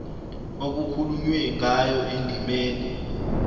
okukhulunywe ngayo endimeni